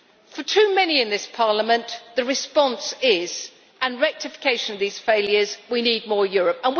For too many in this Parliament, the response is for rectification of these failures, we need more Europe.